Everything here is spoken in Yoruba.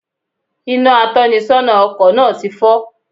Inà atónisónà ọkò náà ti fó